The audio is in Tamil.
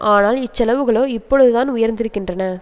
ஆனால் இச்செலவுகளோ இப்பொழுதான் உயர்ந்திருக்கின்றன